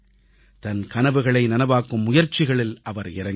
தன் கனவுகளை நனவாக்கும் முயற்சிகளில் அவர் இறங்கினார்